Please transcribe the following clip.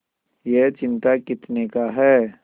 यह चिमटा कितने का है